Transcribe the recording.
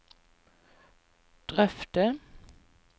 drøfte